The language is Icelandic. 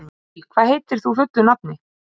Lill, hvað heitir þú fullu nafni?